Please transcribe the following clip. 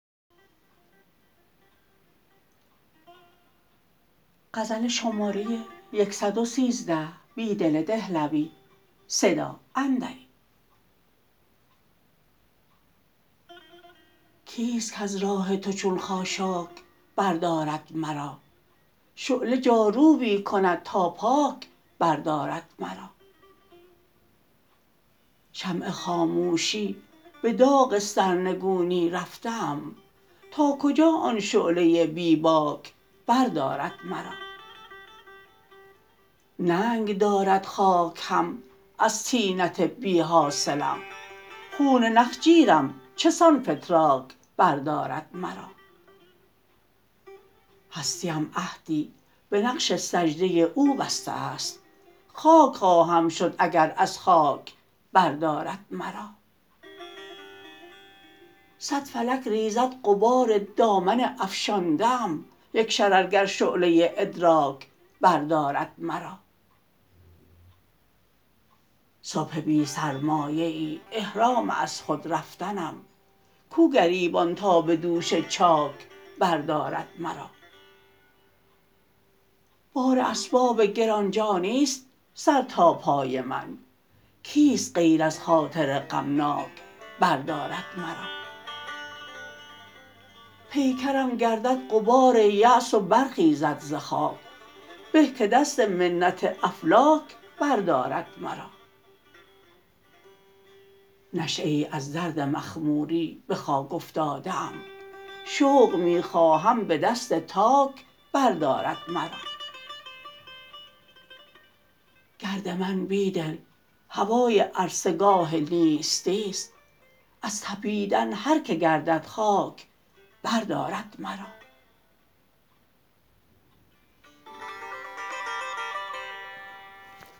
کیست کز راه تو چون خاشاک بردارد مرا شعله جاروبی کند تا پاک بردارد مرا شمع خاموشی به داغ سرنگونی رفته ام تاکجا آن شعله بیباک بردارد مرا ننگ دارد خاک هم از طینت بیحاصلم خون نخجیرم چسان فتراک بردارد مرا هستی ام عهدی به نقش سجده او بسته ست خاک خواهم شد اگر از خاک بردارد مرا صد فلک ریزد غبار دامن افشانده ام یک شررگر شعله ادراک بردارد مرا صبح بی سرمایه ای احرام از خود رفتنم کوگریبان تا به دوش چاک بردارد مرا بار اسباب گرانجانی ست سر تا پای من کیست غیر از خاطر غمناک بردارد مرا پیکرم گردد غبار یأس و برخیزد ز خاک به که دست منت افلاک بردارد مرا نشیه ای از درد مخموری به خاک افتاده ام شوق می خواهم به دست تاک بردارد مرا گرد من بیدل هوای عرصه گاه نیستی ست از تپیدن هرکه گردد خاک بردارد مرا